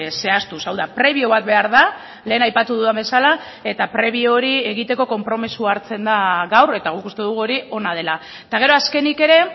zehaztuz hau da prebio bat behar da lehen aipatu dudan bezala eta prebio hori egiteko konpromisoa hartzen da gaur eta guk uste dugu hori ona dela eta gero azkenik ere